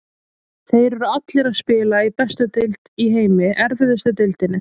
Þeir eru allir að spila í bestu deild í heimi, erfiðustu deildinni.